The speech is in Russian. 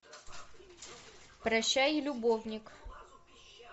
прощай любовник